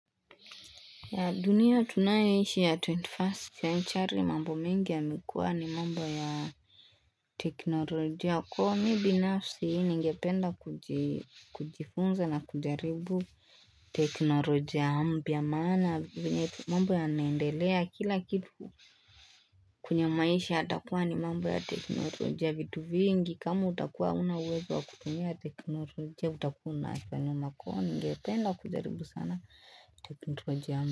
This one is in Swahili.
Dunia tunayoishi ya 21st century mambo mengi yamekuwa ni mambo ya teknolojia kwa mimi binafsi ningependa kujifunza na kujaribu teknolojia mpya maana venye tu mambo yanaendelea kila kitu kunyamaisha yatakuwa ni mambo ya teknolojia vitu vingi kama utakua hauna uwezo wa kutumia teknolojia utakua unafanya ningependa kujaribu sana teknolojia.